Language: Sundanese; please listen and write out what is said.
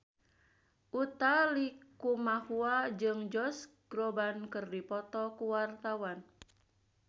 Utha Likumahua jeung Josh Groban keur dipoto ku wartawan